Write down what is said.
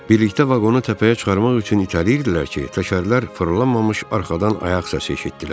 Birlikdə vaqona təpəyə çıxarmaq üçün itələyirdilər ki, təkərlər fırlanmamış arxadan ayaq səsi eşitdilər.